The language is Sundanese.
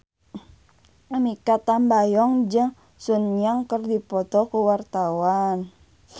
Mikha Tambayong jeung Sun Yang keur dipoto ku wartawan